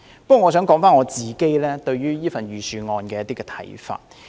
不過，我想說說自己對這份預算案的看法。